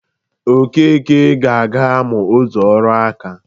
Okeke ga-aga mụa otu ọrụ nka